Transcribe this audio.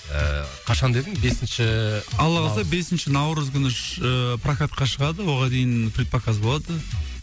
ыыы қашан дедің бесінші алла қаласа бесінші наурыз күні ш ыыы прокатқа шығады оған дейін предпоказ болады